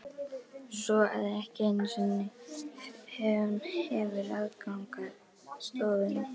Svo að ekki einu sinni hún hefur aðgang að stofunni?